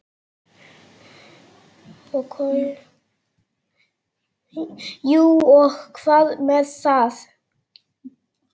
Jú og hvað með það!